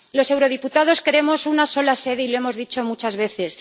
Los eurodiputados queremos una sola sede y lo hemos dicho muchas veces